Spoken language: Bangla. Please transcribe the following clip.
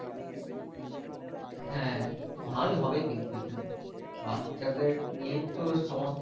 হ্যাঁ ভাই হবে কিন্তু এখানে বাচ্চা দেড় নিয়েই তো সৎ।